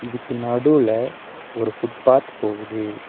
இதுக்கு நடுவுல ஒரு ஃபுட் பாத் போகுது.